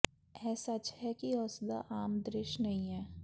ਇਹ ਸੱਚ ਹੈ ਕਿ ਉਸ ਦਾ ਆਮ ਦ੍ਰਿਸ਼ ਨਹੀਂ ਹੈ